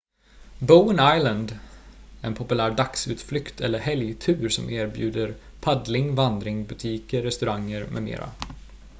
bowen island är en populär dagsutflykt eller helgtur som erbjuder paddling vandring butiker restauranger med mera